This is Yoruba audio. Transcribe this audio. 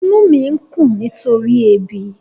Inú mi ń kùn nítorí ebi.